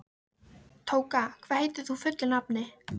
Tóka, hvað heitir þú fullu nafni?